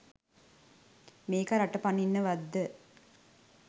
මේකා රට පනින්නවත්ද?